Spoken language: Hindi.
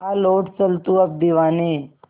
आ लौट चल तू अब दीवाने